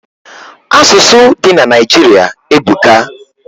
Asusu di na Naijiri ebuka